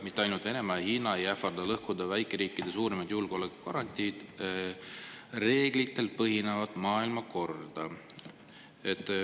Mitte ainult Venemaa ja Hiina ei ähvarda lõhkuda väikeriikide suurimat julgeoleku garantiid – reeglitel põhinevat maailmakorda.